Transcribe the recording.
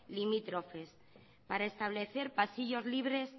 limítrofes para establecer pasillos libres